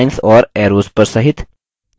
lines और arrows पर सहित